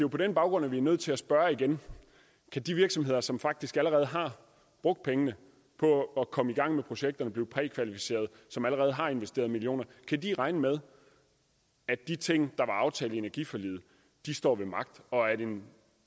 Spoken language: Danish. på den baggrund at vi er nødt til at spørge igen kan de virksomheder som faktisk allerede har brugt pengene på at komme i gang med projekterne blive prækvalificeret som allerede har investeret millioner regne med at de ting der var aftalt i energiforliget står ved magt og at en